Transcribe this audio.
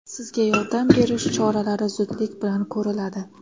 Sizga yordam berish choralari zudlik bilan ko‘riladi!